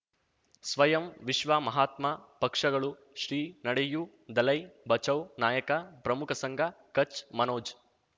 ಸ್ವಯಂ ವಿಶ್ವ ಮಹಾತ್ಮ ಪಕ್ಷಗಳು ಶ್ರೀ ನಡೆಯೂ ದಲೈ ಬಚೌ ನಾಯಕ ಪ್ರಮುಖ ಸಂಘ ಕಚ್ ಮನೋಜ್